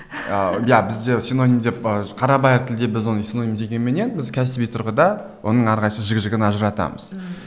иә бізде синоним деп ы қарабайыр тілде біз оны синоним дегенменен біз кәсіби тұрғыда оның әрқайсысын жігі жігін ажыратамыз ммм